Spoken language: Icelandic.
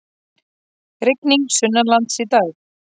Rigning sunnanlands í dag